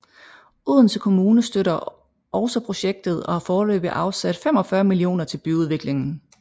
Odense Kommune støtter også projektet og har foreløbigt afsat 45 millioner til byudviklingen